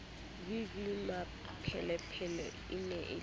v v mmapelepele e ne